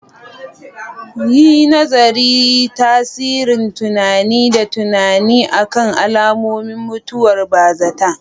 Yi nazarin tasirin tunani da tunani akan al'ummomin mutuwar bazata.